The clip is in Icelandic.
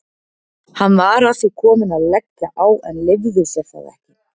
Hann var að því kominn að leggja á en leyfði sér það ekki.